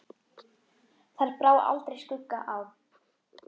Þar brá aldrei skugga á.